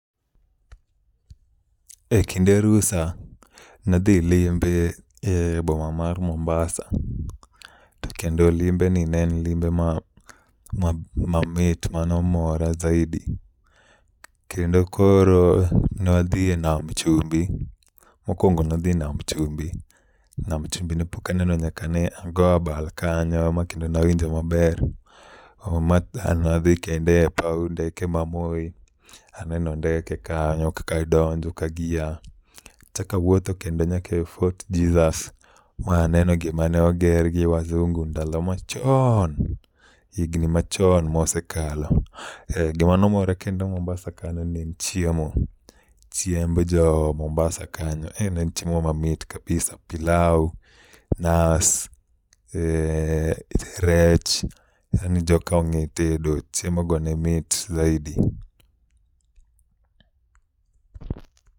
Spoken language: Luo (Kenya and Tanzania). E kinde rusa nadhi limbe e boma mar Mumbasa, to kendo limbe ni ne en limbe ma ma mamit manomora zaidi. Kendo koro ne wadhie Nam Chumbi, mokwongo nadhi Nam Chumbi. Nam Chumbi ne pok aneno nyaka ne ago abal kanyo makendo nawinjo maber. Oh ma nadhi kendo e paw ndeke ma Moi, aneno ndeke kanyo kaka donjo ka gia. Achakawuotho kendo nyaka Fort Jesus, ma aneno gima ne oger gi Wazungu ndalo ma choon, higni machon mosekalo. Gima nomora kendo Mumbasa kanyo ne en chiemo, chiemb jo Mumbasa kanyo. Eh ne en chiemo mamit kabisa, pilau, nas, eh rech, yani joka ong'e tedo, chiemo go ne mit zaidi.